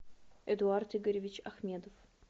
эдуард игоревич ахмедов